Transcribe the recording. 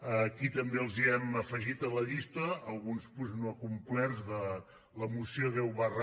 aquí també els hem afegit a la llista alguns punts no acomplerts de la moció deu xi